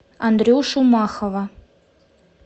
андрюшу махова